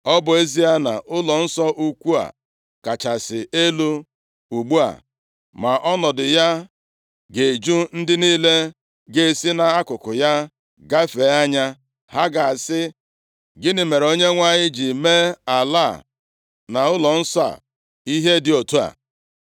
Ọ bụ ezie na ụlọnsọ ukwu a kachasị elu ugbu a, ma ọnọdụ ya ga-eju ndị niile ga-esi nʼakụkụ ya gafee anya, ha ga-asị, ‘Gịnị mere Onyenwe anyị ji mee ala a na ụlọnsọ a, ihe dị otu a?’